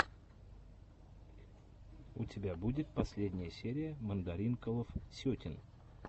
у тебя будет последняя серия мандаринкалов сетин